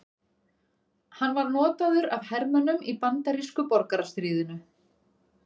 Hann var notaður af hermönnum í bandarísku borgarastríðinu.